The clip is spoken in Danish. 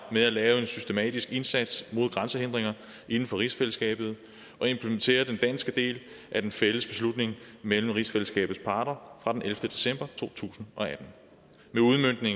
med at lave en systematisk indsats mod grænsehindringer inden for rigsfællesskabet og implementerer den danske del af den fælles beslutning mellem rigsfællesskabets parter fra den ellevte december to tusind og atten